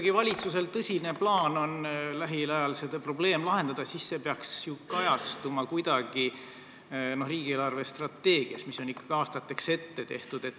Kui valitsusel on tõsine plaan lähiajal see probleem lahendada, siis see peaks ju kajastuma kuidagi riigi eelarvestrateegias, mis on ikkagi aastateks ette tehtud.